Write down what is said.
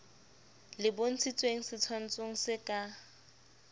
le bontshitshweng setshwantshong se ka